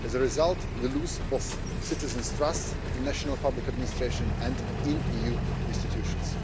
As a result, we lose both citizens' trust in national public administration and in EU institutions.